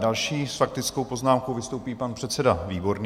Další s faktickou poznámkou vystoupí pan předseda Výborný.